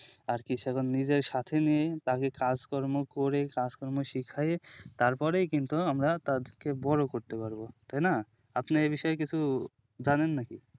আরকি সেগম নিজের সাথে নিয়েই বাকি কাজকর্ম করে কাজকর্ম শিখায়ে তারপরেই কিন্তু আমরা তাদেরকে বড়ো করতে পারবো তাই না আপনি এই বিষয়ে কিছু জানেন নাকি